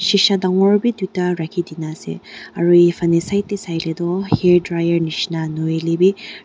shisha dangor b duita rakhi gina ase efane said de sai le doh hair dryer nishena nahoile b--